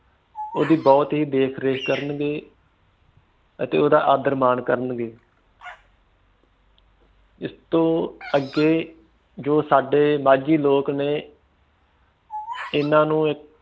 ਓਹਦੀ ਬਹੁਤ ਹੀ ਦੇਖ ਰੇਖ ਕਰਨਗੇ ਅਤੇ ਓਹਦਾ ਆਦਰ ਮਾਨ ਕਰਨਗੇ ਪਇਸ ਤੋਂ ਅੱਗੇ ਜੋ ਸਾਡੇ ਮਾਝੀ ਲੋਕ ਨੇ ਇਹਨਾਂ ਨੂੰ